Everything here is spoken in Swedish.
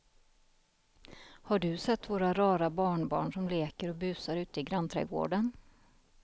Har du sett våra rara barnbarn som leker och busar ute i grannträdgården!